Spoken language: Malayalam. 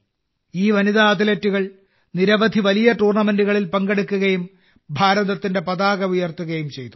ഈ വനിതാ അത്ലറ്റുകൾ നിരവധി വലിയ ടൂർണമെന്റുകളിൽ പങ്കെടുക്കുകയും ഭാരതത്തിന്റെ പതാക ഉയർത്തുകയും ചെയ്തു